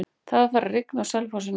Það er farið að rigna á Selfossi núna.